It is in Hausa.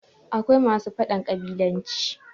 akwai masu faɗan ƙabilanci